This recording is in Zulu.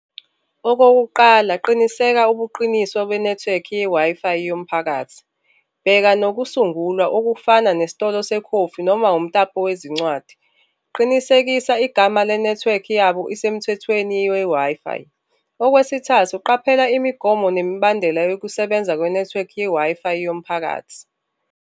Okokuqala, qiniseka ubuqiniswa kwenethiwekhi ye-Wi-Fi yomphakathi, bheka nokusungulwa okufana nesitolo sekhofi noma umtapo wezincwadi, qinisekisa igama lenethiwekhi yabo isemthethweni we-Wi-Fi. Okwesithathu, qaphela imigomo nemibandela yokusebenza kwenethiwekhi ye-Wi-Fi yomphakathi.